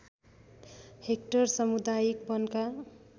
hectare सामुदायिक वनका